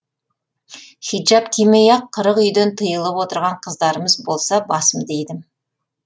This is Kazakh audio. хиджаб кимей ақ қырық үйден тыйылып отырған қыздарымыз болса басымды идім